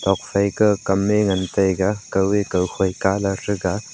tuak phai kaw kam e ngan taiga kaw e kaw khoi kalor tega.